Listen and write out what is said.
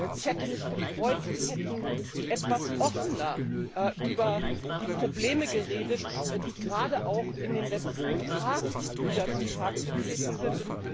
Ich hätte mich gefreut, wenn Sie etwas offener über die Probleme geredet hätten, die gerade auch in den letzten Tagen wieder zutage getreten sind